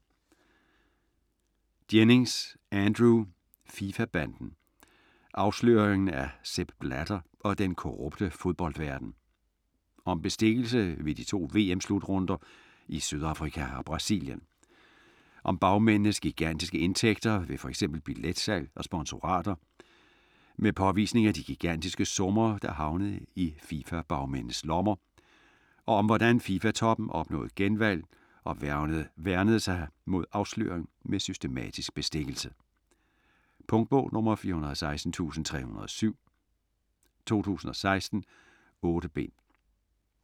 Jennings, Andrew: FIFA-banden: afsløringen af Sepp Blatter og den korrupte fodboldverden Om bestikkelse ved de to VM-slutrunder i Sydafrika og Brasilien. Om bagmændenes gigantiske indtægter ved f.eks. billetsalg og sponsorater, med påvisning af de gigantiske summer, der havnede i FIFA bagmændenes lommer, og om hvordan FIFA toppen opnåede genvalg og værnede sig mod afsløring med systematisk bestikkelse. Punktbog 416307 2016. 8 bind.